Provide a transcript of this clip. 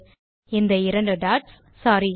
- இந்த இரண்டு டாட்ஸ் சோரி